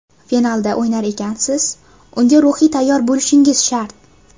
Finalda o‘ynar ekansiz, unga ruhiy tayyor bo‘lishingiz shart.